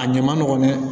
A ɲɛ ma nɔgɔn dɛ